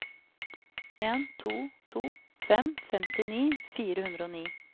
en to to fem femtini fire hundre og ni